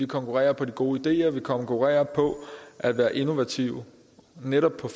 konkurrere på de gode ideer vi skal konkurrere på at være innovative netop på